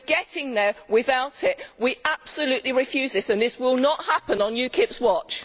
We are getting there without it. We absolutely refuse this and it will not happen on UKIP's watch.